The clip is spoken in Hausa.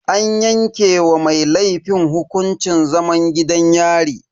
An yanke wa mai laifin hukuncin zaman gidan yari.